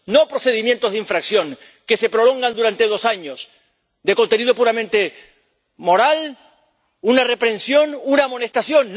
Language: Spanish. No procedimientos de infracción que se prolongan durante dos años, de contenido puramente moral —una reprensión, una amonestación—.